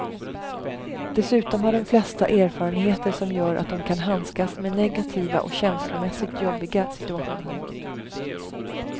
Dessutom har de flesta erfarenheter som gör att de kan handskas med negativa och känslomässigt jobbiga situationer.